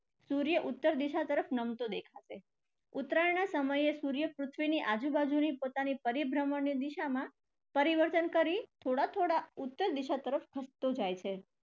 સૂર્ય ઉત્તર દિશા તરફ નમતો દેખાશે. ઉત્તરાયણના સમયે સૂર્ય પૃથ્વીની આજુબાજુની પોતાની પરિભ્રમણની દિશામાં પરિવર્તન કરી થોડા થોડા ઉત્તર દિશા તરફ ખસતો જાય છે.